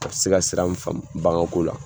A bɛ se ka sira munu faamu baganko la.